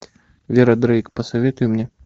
вера дрейк посоветуй мне